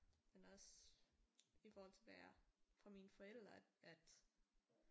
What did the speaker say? Men også i forhold hvad jeg for mine forældre at